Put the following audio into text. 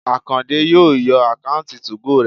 Àkàndé yóò yọ àkáùntì 2go rẹ̀